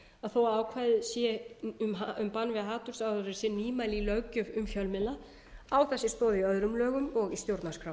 að þó að ákvæðið um bann við hatursáróðri sé nýmæli í löggjöf um fjölmiðla á það sér stoð í öðrum lögum og í stjórnarskrá